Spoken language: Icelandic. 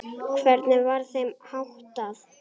Hvernig var þeim háttað?